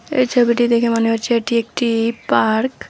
এই ছবিটি দেখে মনে হচ্ছে এটি একটি পার্ক ।